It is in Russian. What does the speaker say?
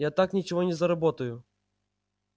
я так ничего не заработаю